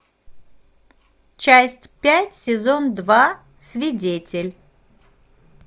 часть пять сезон два свидетель